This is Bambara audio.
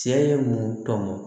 Cɛ ye mun tɔmɔ